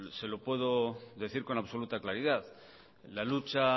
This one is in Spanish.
se lo puedo decir con absoluta claridad la lucha